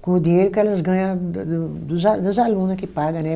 com o dinheiro que elas ganha do dos das aluna que paga, né?